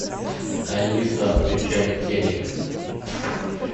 алиса включай телек